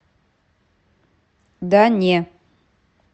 да не